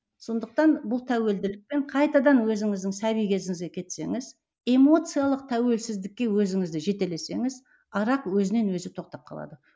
сондықтан бұл тәуілділікпен қайтадан өзіңіздің сәби кезіңізге кетсеңіз эмоциялық тәуілсіздікке өзіңізді жетелесеңіз арақ өзінен өзі тоқтап қалады